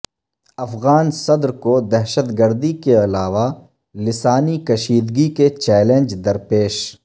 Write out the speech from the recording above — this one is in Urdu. افغان صدر کو دہشت گردی کے علاوہ لسانی کشیدگی کے چیلنج درپیش